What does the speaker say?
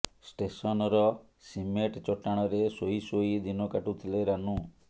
ଷ୍ଟେସନର ସିମେଟ ଚଟାଣରେ ଶୋଇ ଶୋଇ ଦିନ କାଟୁଥିଲେ ରାନୁ